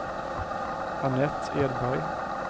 Annette Edberg